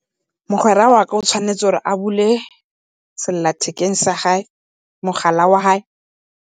Mogwera wa ka o tshwanetse gore a bule sellathekeng sa haye, mogala wa hae.